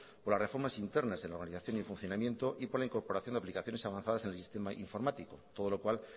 por las reformas internas en la organización y funcionamiento y por la incorporación de aplicaciones avanzadas en el sistema informático todo lo cual